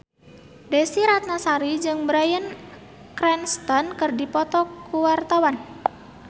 Desy Ratnasari jeung Bryan Cranston keur dipoto ku wartawan